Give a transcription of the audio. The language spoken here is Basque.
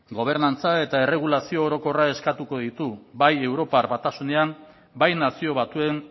gobernantza eta erregulazio orokorrak eskatuko ditu bai europar batasunean bai nazio batuen